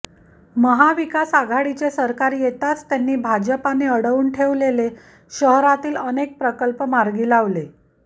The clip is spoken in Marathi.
महाविकास आघाडीचे सरकार येताच त्यांनी भाजपने अडवून ठेवलेले शहरातील अनेक प्रकल्प मार्गी लावले